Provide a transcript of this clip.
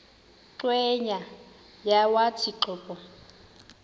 cweya yawathi qobo